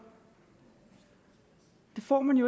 det får man